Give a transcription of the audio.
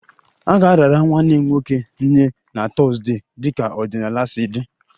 A ga-arara nwanne m nwoke nye na Thursday dịka ọdịnala si dị